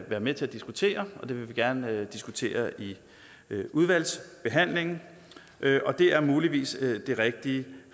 være med til at diskutere og det vil vi gerne diskutere i udvalgsbehandlingen og det er muligvis det rigtige